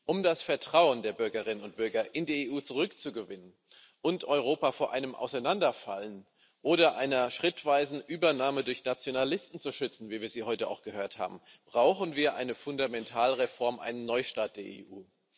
Um das Vertrauen der Bürgerinnen und Bürger in die EU zurückzugewinnen und Europa vor einem Auseinanderfallen oder einer schrittweisen Übernahme durch Nationalisten zu schützen, wie wir sie auch heute gehört haben, brauchen wir eine Fundamentalreform, einen Neustart der EU.